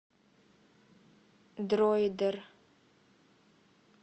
дроидер